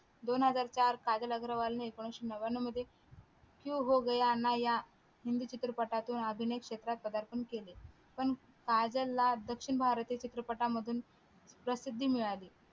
दोन हजार चार काजल अग्रवाल ने एकोणविशे नव्यानो मध्ये क्यो होगया ना या हिंदी चित्रपटातून अभिनय क्षेत्रात पदार्पण केले पण काजल ला दक्षिण भारतीय चित्रपटातून प्रसिद्धी मिळाली.